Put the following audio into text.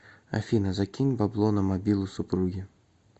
афина закинь бабло на мобилу супруги